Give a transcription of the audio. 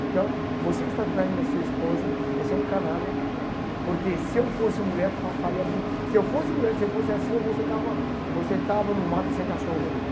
Então, você está traindo a sua esposa, você é um canalha, porque se eu fosse mulher, fa faria se eu fosse mulher e se eu fosse a sua, você estava você estava no mato sem cachorro comigo.